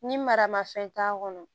Ni maramafɛn t'a kɔnɔ